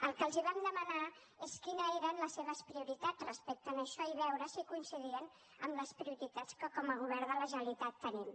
el que els vam demanar és quines eren les seves prioritats respecte a això i veure si coincidien amb les prioritats que com a govern de la generalitat tenim